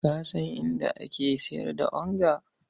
Ka san inda ake sayar da kori?